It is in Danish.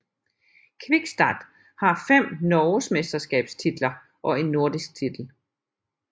Kvikstad har fem norgesmesterskabstitler og en nordisk titel